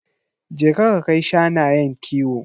Je ka ka kai shanayen kiwo.